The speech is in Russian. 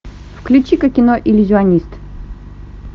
включи ка кино иллюзионист